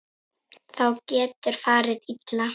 Þá getur farið illa.